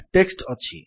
text ଅଛି